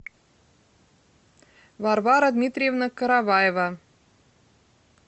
варвара дмитриевна караваева